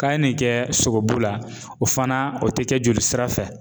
K'a' ye nin kɛ sogobu la o fana o tɛ kɛ jolisira fɛ.